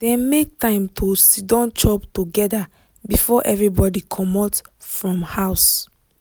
dem make time to siddon chop together before everybody comot from house.